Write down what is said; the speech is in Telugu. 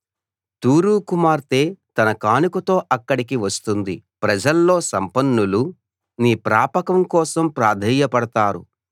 తూరు కుమార్తె తన కానుకతో అక్కడికి వస్తుంది ప్రజల్లో సంపన్నులు నీ ప్రాపకం కోసం ప్రాధేయపడతారు